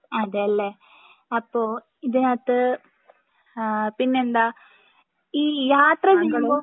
അതെ അല്ലെ അപ്പൊ ഇതിനകത്ത് ആഹ് പിന്നെന്താ ഈ യാത്ര ചെയ്യുമ്പോ